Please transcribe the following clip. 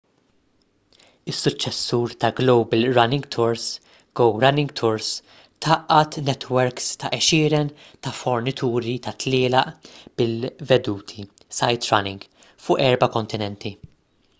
is-suċċessur ta’ global running tours go running tours tgħaqqad netwerks ta’ għexieren ta’ fornituri ta’ tlielaq bil-veduti sightrunning” fuq erba’ kontinenti